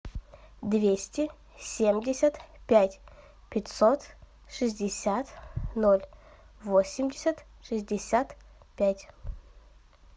двести семьдесят пять пятьсот шестьдесят ноль восемьдесят шестьдесят пять